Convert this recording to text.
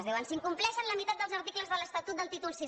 diuen s’incompleixen la meitat dels articles de l’estatut del títol vi